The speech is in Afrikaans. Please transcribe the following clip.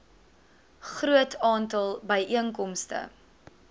groot aantal byeenkomste